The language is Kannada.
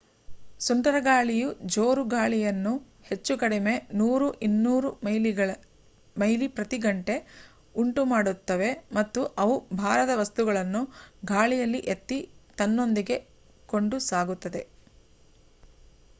ಸುಂಟರಗಾಳಿಯು ಜೋರು ಗಾಳಿಯನ್ನು ಹೆಚ್ಚು ಕಡಿಮೆ 100-200 ಮೈಲಿ ಪ್ರತಿ ಗಂಟೆ ಉಂಟು ಮಾಡುತ್ತವೆ ಮತ್ತು ಅವು ಭಾರದ ವಸ್ತುಗಳನ್ನು ಗಾಳಿಯಲ್ಲಿ ಎತ್ತಿ ತನ್ನೊಂದಿಗೆ ಕೊಂಡು ಸಾಗುತ್ತದೆ